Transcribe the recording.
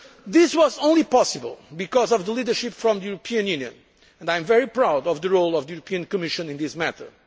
2 emissions. This was only possible because of the leadership from the European Union I am very proud of the role of the Commission in